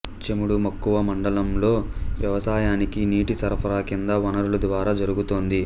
చెముడు మక్కువ మండలంలో వ్యవసాయానికి నీటి సరఫరా కింది వనరుల ద్వారా జరుగుతోంది